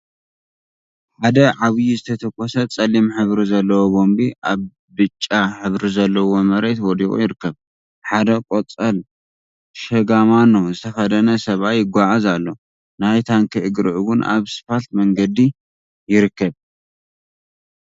ሓደ ዓብይ ዝተተኮሰ ጸሊም ሕብሪ ዘለዎ ቦምቢ ኣብ ብጫ ሕብሪ ዘለዎ መሬት ወዲቁ ይርከብ። ሓደ ቆጻል ሽጋማኖ ዝተከደነ ሰብኣይ ይጋዓዝ ኣሎ። ናይ ታንኪ እግሪ እውን ኣብ ስፓልት መንገዲ ይርከብ።